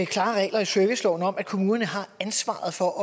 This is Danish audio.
klare regler i serviceloven om at kommunerne har ansvaret for